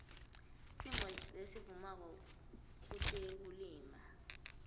simo lesivumako kutekulima